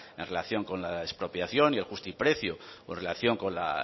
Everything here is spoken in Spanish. en relación con la expropiación y el justiprecio con relación con la